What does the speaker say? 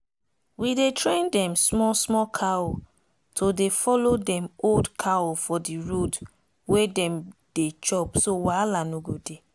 we dey train dem small small cow to dey follow dem old cow for the road wey dem dey chop so wahala no go dey.